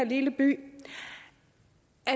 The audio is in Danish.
lille by